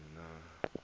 mna